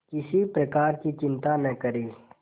किसी प्रकार की चिंता न करें